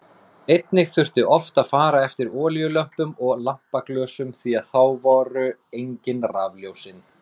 Einnig þurfti oft að fara eftir olíulömpum og lampaglösum því að þá voru engin rafljósin.